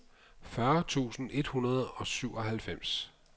fyrre tusind et hundrede og syvoghalvfems